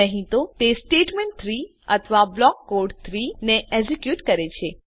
નહી તો તે સ્ટેટમેન્ટ 3 અથવા બ્લોક કોડ ૩ ને એક્ઝેક્યુટ કરે છે